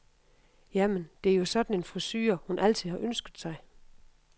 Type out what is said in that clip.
Jamen, det er jo sådan en frisure, hun altid har ønsket sig.